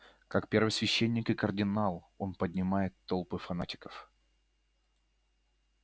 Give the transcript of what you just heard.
как первосвященник и кардинал он поднимает толпы фанатиков